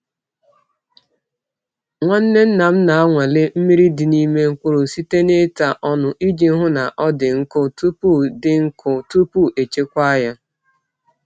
Nwanne nna m na-anwale mmiri dị n’ime mkpụrụ site n’ịta ọnụ iji hụ na ọ dị nkụ tupu dị nkụ tupu echekwaa ya.